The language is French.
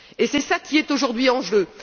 C'est cela qui est aujourd'hui en jeu.